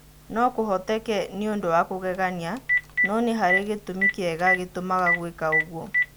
No-kũhoteke nĩũndũ wa kũgegania , no-nĩharĩ gĩtũmi kĩega gĩtũmaga guika-ũguo.